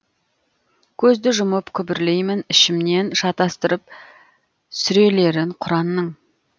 көзді жұмып күбірлеймін ішімнен шатастырып сүрелерін құранның